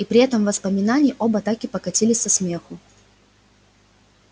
и при этом воспоминании оба так и покатились со смеху